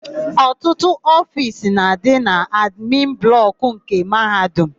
Ọtụtụ ofiisi na-adị na admin blọkụ nke Mahadum.